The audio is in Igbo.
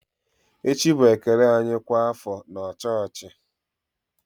Echi bụ ekele anyị kwa afọ na chọọchị.